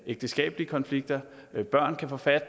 ægteskabelige konflikter og børn kan få fat